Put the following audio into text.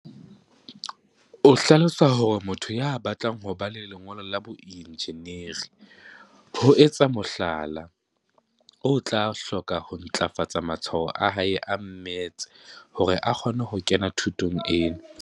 O hlalosa hore motho ya batlang ho ba le lengolo la boenjineri, ho etsa mohlala, o tla hloka ho ntlafatsa matshwao a hae a mmetse hore a kgone ho kena thutong ena.